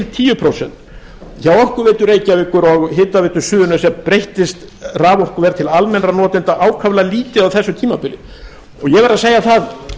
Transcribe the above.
tíu prósent hjá orkuveitu reykjavíkur og hitaveitu suðurnesja breyttist raforkuverð til almennra notenda ákaflega lítið á þessu tímabili en ég verð að segja það